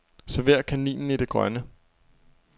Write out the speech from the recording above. Server kaninen i det grønne.